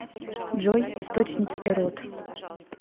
джой источники эрот